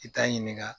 I t'a ɲininka